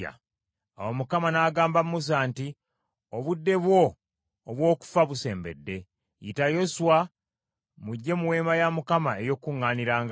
Awo Mukama n’agamba Musa nti, “Obudde bwo obw’okufa busembedde. Yita Yoswa, mujje mu Weema ey’Okukuŋŋaanirangamu.”